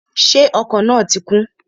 Ṣé ọkọ̀ náà ti kún?